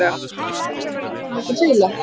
Einn þeirra var Ingimundur fiðla.